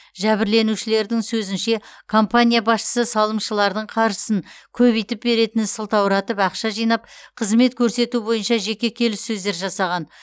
жәбірленушілердің сөзінше компания басшысы салымшылардың қаржысын көбейтіп беретінін сылтауратып ақша жинап қызмет көрсету бойынша жеке келіссөздер жасаған